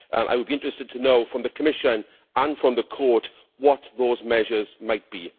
I would be interested to know from the Commission and from the Court what those measures might be.